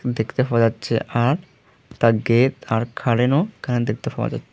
দেখতে পাওয়া যাচ্ছে আর একতা গেত আর এখানে দেখতে পাওয়া যা--